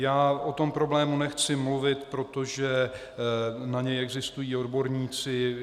Já o tom problému nechci mluvit, protože na něj existují odborníci.